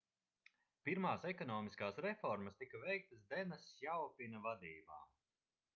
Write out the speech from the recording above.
pirmās ekonomiskās reformas tika veiktas dena sjaopina vadībā